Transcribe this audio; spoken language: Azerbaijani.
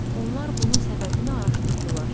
Onlar bunun səbəbini araşdırdılar.